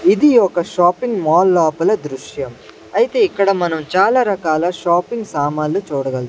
ఇది ఒక shopping mall లోపల దృశ్యం అయితే ఇక్కడ మనం చాలా రకాల షాపింగ్ సామాలు చూడగలుగు--